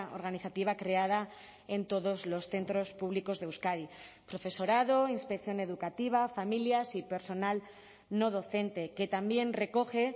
organizativa creada en todos los centros públicos de euskadi profesorado inspección educativa familias y personal no docente que también recoge